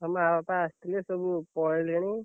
ହଁ ମାଆ ବାପା ଆସିଥିଲେ ସବୁ ପଳେଇଲେଣି।